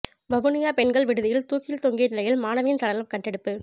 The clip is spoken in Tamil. வவுனியா பெண்கள் விடுதியில் தூக்கில் தொங்கிய நிலையில் மாணவியின் சடலம் கண்டெடுப்பு